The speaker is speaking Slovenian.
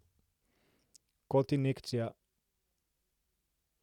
Kot injekcija.